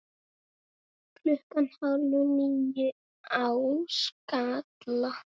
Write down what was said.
Klukkan hálf níu á Skalla!